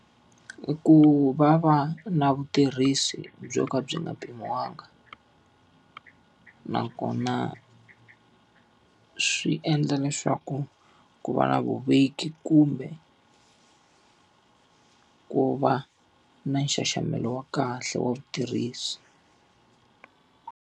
Ku va va na vutirhisi byo ka byi nga pfuniwanga. Nakona swi endla leswaku ku ku va na vuveki kumbe ku va na nxaxamelo wa kahle wa vutirhisi.